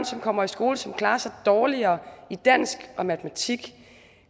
som kommer i skole som klarer sig dårligere i dansk og matematik